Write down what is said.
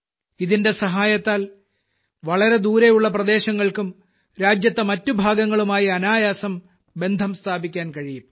ഇതിന്റെ സഹായത്താൽ വളരെ ദൂരെയുള്ള പ്രദേശങ്ങൾക്കും രാജ്യത്തെ മറ്റു ഭാഗങ്ങളുമായി അനായാസം ബന്ധം സ്ഥാപിക്കാൻ കഴിയും